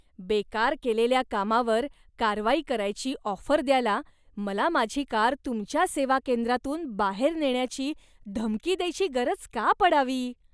बेकार केलेल्या कामावर कारवाई करायची ऑफर द्यायला, मला माझी कार तुमच्या सेवा केंद्रातून बाहेर नेण्याची धमकी द्यायची गरज का पडावी?